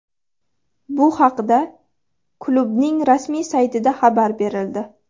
Bu haqda klubning rasmiy saytida xabar berildi .